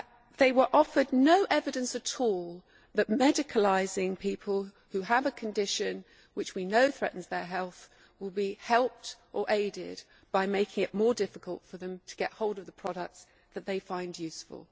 They were offered no evidence at all that medicalising people who have a condition known to threaten their health would be helped by making it more difficult for them to get hold of the products that they find useful.